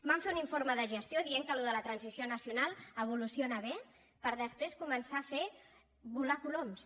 van fer un informe de gestió dient que això de la transició nacional evoluciona bé per després començar a fer volar coloms